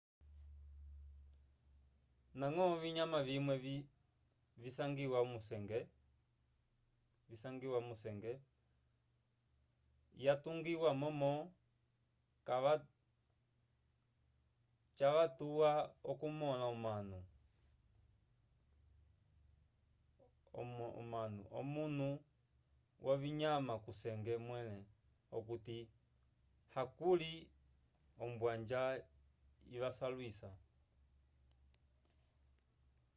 ndañgo ovinyama vimwe visangiwa kusenge yatungiwa momo cavatuwa okumõla omanu omwnyo wovinyama kusenge mwẽle okuti hakuli ombwanja ivasalwisa